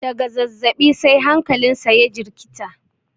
daga zazzabi sai hankalinsa ya jirkita